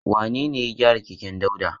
Wane ne ya gyara keken Dauda?